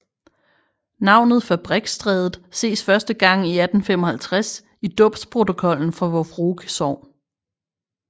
Navnet Fabrikstrædet ses første gang i 1855 i dåbsprotokollen for Vor Frue Sogn